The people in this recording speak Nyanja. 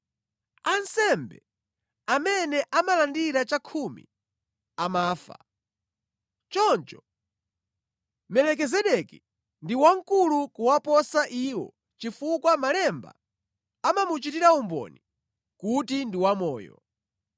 Ansembe amene amalandira chakhumi amafa, choncho Melikizedeki ndi wamkulu kuwaposa iwo chifukwa Malemba amamuchitira umboni kuti ndi wamoyo.